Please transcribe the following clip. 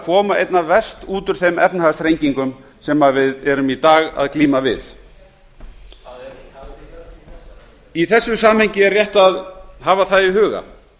koma einna verst út úr þeim efnahagsþrengingum sem við erum í dag að glíma við hvað er í þessu samhengi er rétt að hafa það í huga